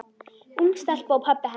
Ung stelpa og pabbi hennar.